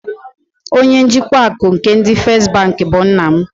Onye njikwa akụ nke ndị First bank bụ nna m.